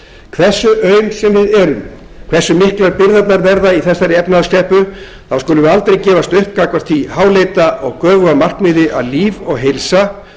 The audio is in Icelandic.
hversu aum sem við erum hversu miklar byrðarnar verða í þessari efnahagskreppu skulum við aldrei gefast upp gagnvart því háleita og göfuga markmiði að líf og heilsa